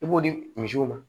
I b'o di misiw ma